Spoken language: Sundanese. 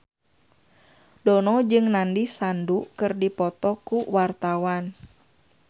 Dono jeung Nandish Sandhu keur dipoto ku wartawan